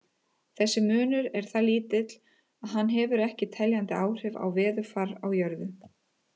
Þessi munur er það lítill að hann hefur ekki teljandi áhrif á veðurfar á jörðu.